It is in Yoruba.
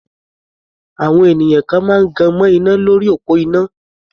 Àwọn ènìyàn kan máa gan mọ́ iná lórí òpó iná.